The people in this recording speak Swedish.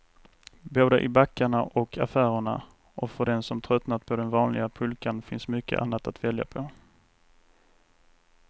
Både i backarna och affärerna, och för den som tröttnat på den vanliga pulkan finns mycket annat att välja på.